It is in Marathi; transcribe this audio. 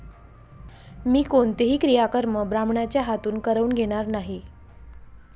मी कोणतेही क्रियाकर्म ब्राह्मणाचे हातून करवून घेणार नाही.